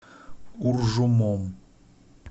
уржумом